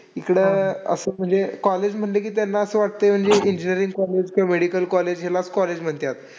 इकडं असं म्हणजे college म्हटलं की त्यांना असं वाटतं की म्हणजे engineering college किंवा medical college याला college म्हणतात.